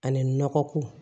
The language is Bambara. Ani nɔgɔ ko